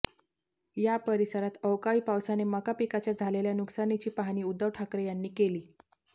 या परिसरात अवकाळी पावसाने मका पिकाच्या झालेल्या नुकसानीची पाहणी उद्धव ठाकरे यांनी केली